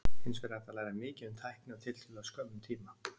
Hins vegar er hægt að læra mikið um tækni á tiltölulega skömmum tíma.